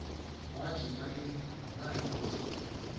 wakhupha imvumo nayikuthi